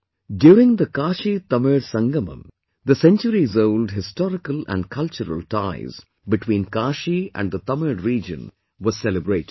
During the KashiTamil Sangamam, the centuriesold historical and cultural ties between Kashi and the Tamil region were celebrated